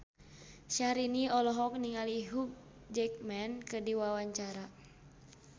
Syahrini olohok ningali Hugh Jackman keur diwawancara